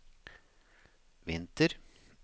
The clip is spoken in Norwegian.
vinter